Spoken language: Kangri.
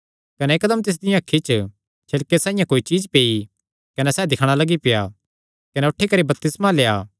कने इकदम तिसदियां अखीं च छिलके साइआं कोई चीज्ज पेई कने सैह़ दिक्खणा लग्गी पेआ कने उठी करी बपतिस्मा लेआ